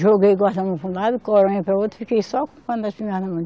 Joguei para um lado, coronha para outro e fiquei só com a espingarda na mão.